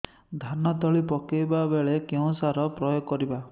ଧାନ ତଳି ପକାଇବା ବେଳେ କେଉଁ ସାର ପ୍ରୟୋଗ କରିବା